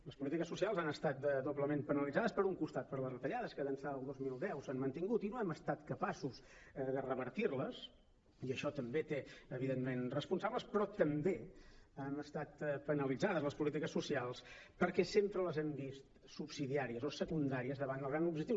les polítiques socials han estat doblement penalitzades per un costat per les retallades que d’ençà del dos mil deu s’han mantingut i no hem estat capaços de revertir i això també té evidentment responsables però també han estat penalitzades les polítiques socials perquè sempre les hem vist subsidiàries o secundàries davant el gran objectiu